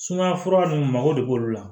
Sumaya fura nunnu mago de b'olu la